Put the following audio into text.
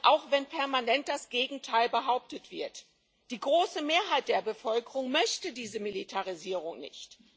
Auch wenn permanent das Gegenteil behauptet wird die große Mehrheit der Bevölkerung möchte diese Militarisierung nicht.